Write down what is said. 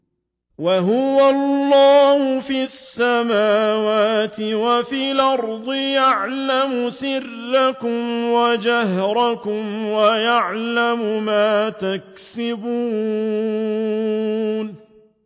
وَهُوَ اللَّهُ فِي السَّمَاوَاتِ وَفِي الْأَرْضِ ۖ يَعْلَمُ سِرَّكُمْ وَجَهْرَكُمْ وَيَعْلَمُ مَا تَكْسِبُونَ